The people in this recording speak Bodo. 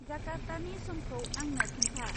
जाकार्तानि समखौ आंनो खोन्था।